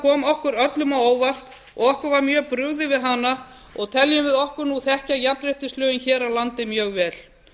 kom okkur öllum á óvart og okkur var mjög brugðið við hana og teljum við okkur þekkja jafnréttislögin hér á landi mjög vel